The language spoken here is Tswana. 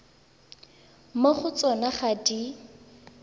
mo go tsona ga di